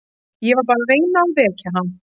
Ég var bara að reyna að vekja hann.